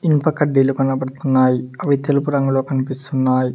ఇనుప కడ్డీలు కనబడుతున్నాయి అవి తెలుపు రంగులో కనిపిస్తున్నాయి.